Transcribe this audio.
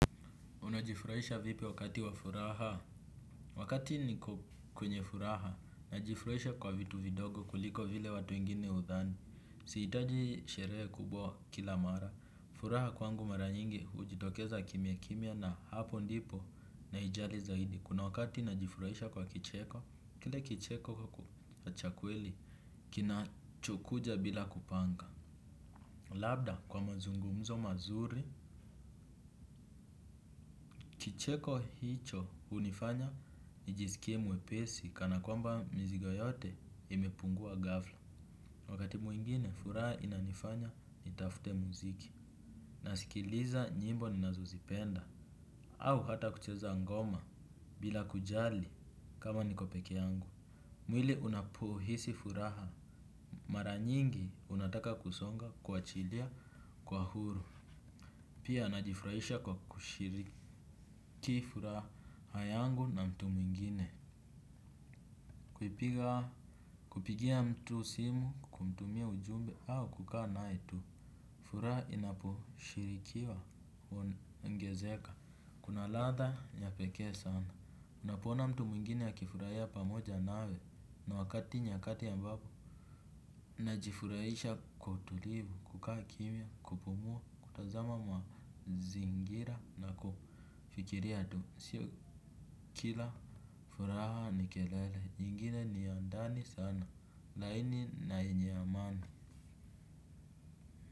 Unajifurahisha vipi wakati wa furaha? Wakati niko kwenye furaha, najifurahisha kwa vitu vidogo kuliko vile watu wengine hudhani. Sihitaji sherehe kubwa kila mara. Furaha kwangu mara nyingi hujitokeza kimiakimia na hapo ndipo naijali zaidi. Kuna wakati najifurahisha kwa kicheko, kile kicheko cha kweli, kinachokuja bila kupanga. Labda kwa mazungumzo mazuri. Kicheko hicho unifanya nijisikie mwepesi kana kwamba mizigo yote imepungua ghafla. Wakati mwingine furaha inanifanya nitafute muziki. Nasikiliza nyimbo ninazozipenda. Au hata kucheza ngoma bila kujali kama niko peke yangu. Mwili unapohisi furaha. Mara nyingi unataka kusonga kuachilia kwa huru. Pia najifurahisha kwa kushiriki furaha yangu na mtu mwingine. Kupiga kupigia mtu simu kumtumia ujumbe au kukaa naye tu. Furaha inaposhirikiwa huongezeka. Kuna ladha ya pekee sana unapoona mtu mwingine akifurahia pamoja nawe na wakati nyakati ambapo najifurahisha kwa utulivu, kukaa kimia, kupumua, kutazama mazingira na kufikiria tu. Sio kila furaha ni kelele, nyingine ni ya ndani sana, laini na yenye amani.